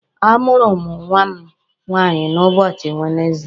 A mụrụ mụ nwa m nwaanyi n'ụbọchị Wenezdee.